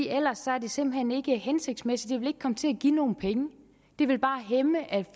ellers er det simpelt hen ikke hensigtsmæssigt det vil ikke komme til at give nogen penge det vil bare hæmme